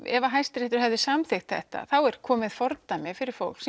ef Hæstiréttur hefði samþykkt þetta væri komið fordæmi fyrir fólk